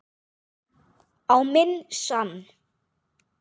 Á minn sann.!